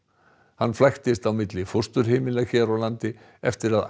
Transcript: hann flæktist á milli fósturheimila hér á landi eftir að